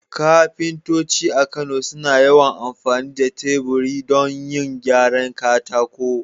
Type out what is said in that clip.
Kafintoci a Kano suna yawan amfani da teburi don yin gyaran katako.